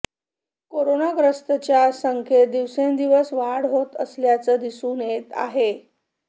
करोनाग्रस्तांच्या संख्येत दिवसेंदिवस वाढ होत असल्याचंच दिसून येत आहे